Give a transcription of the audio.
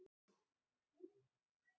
Ekkert stendur þar í líkingu við upphaf